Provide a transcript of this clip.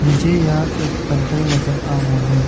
मुझे यहां एक पंतल नजर आ रहा है।